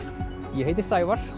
ég heiti Sævar